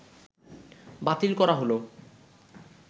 বাতিল করা হলো